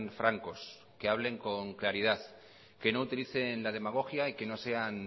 francos que hablen con claridad que no utilicen la demagogia y que no sean